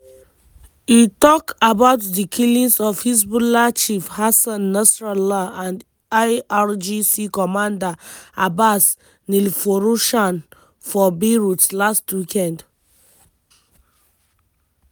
e tok about di killings of hezbollah chief hassan nasrallah and irgc commander abbas nilforoshan for beirut last weekend.